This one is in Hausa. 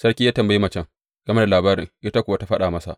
Sarki ya tambayi macen game da al’amarin, ita kuwa ta faɗa masa.